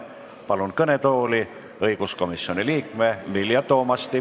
Palun kõnetooli õiguskomisjoni liikme Vilja Toomasti.